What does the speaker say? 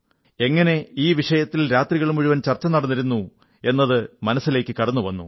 എങ്ങനെ ഈ വിഷയത്തിൽ രാത്രികൾ മുഴുവൻ ചർച്ച നടന്നിരുന്നു എന്നത് മനസ്സിലേക്കു കടന്നു വന്നു